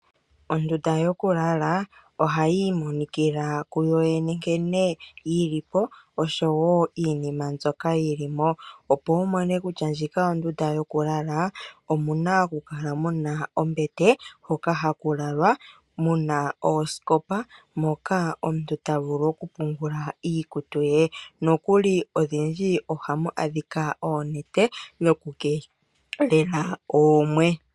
Ondunda yoku lala ohayi imonikila ku yoyene nkene yi lipo osho wo iinima mbyoka yi limo. Opo wu mone kutya ndjino ondunda yo kulala omuna oku kala muna ombete hoka haku lalwa. Muna oosikopa moka omutu ta vulu oku pungula iikutu ye nokuli odhindji ohamu adhika onete yoku keelela oomwe.